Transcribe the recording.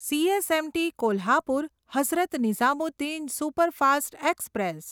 CSMT Kolhapur Hazrat Nizamuddin superfast express